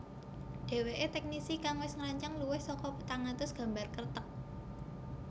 Dheweke teknisi kang wis ngrancang luwih saka patang atus gambar Kreteg